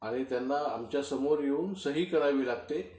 आणि त्यांना आमच्या समोर येऊन सही करावी लागते.